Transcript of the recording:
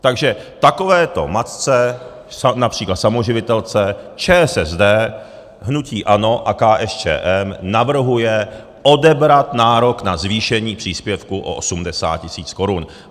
Takže takovéto matce, například samoživitelce, ČSSD, hnutí ANO a KSČM navrhuje odebrat nárok na zvýšení příspěvku o 80 tisíc korun.